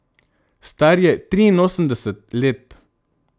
Star je triinosemdeset let.